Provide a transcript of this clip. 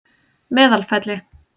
Meðalfelli